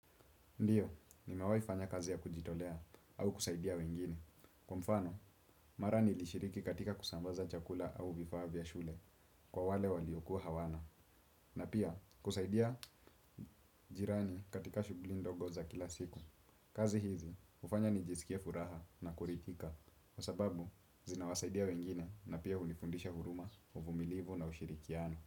Ndiyo, nimewai fanya kazi ya kujitolea au kusaidia wengine. Kwa mfano, mara nilishiriki katika kusambaza chakula au vifaa vya shule kwa wale waliokuwa hawana. Na pia, kusaidia jirani katika shugli ndogo za kila siku. Kazi hizi, ufanya nijisikie furaha na kuritika. Kwa sababu, zinawasaidia wengine na pia unifundisha huruma, uvumilivu na ushirikiano.